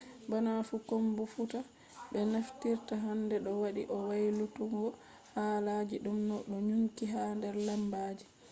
bana fu komfuta be naftirta hande do wadi o waylutuggo haala je dum do nyukki ha der lambaji